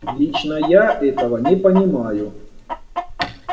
лично я этого не понимаю